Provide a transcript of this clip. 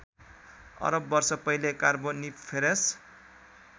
अरब वर्ष पहिले कार्बोनिफेरस